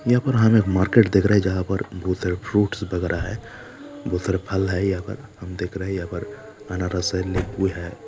यह पर हमें एक मार्किट दिख रहा है जहां पर बहुत सारे फ्रूट्स वगेरा है बहोत सारे फल है यहाँ पर हम देख रहैं है यहाँ पर अनारस हैं लिबु हैं।